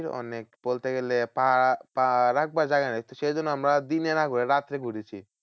অনেক বলতে গেলে পা পা রাখবার জায়গা নেই। সেই জন্য আমরা দিনে না ঘুরে রাত্রে ঘুরেছি।